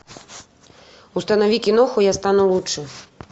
установи киноху я стану лучше